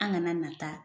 An kana na taa